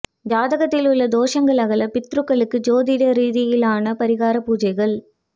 ஜாகத்தில் உள்ள தோஷங்கள் அகல பித்ருக்களுக்கு ஜோதிட ரீதியிலான பரிகார பூஜைகள்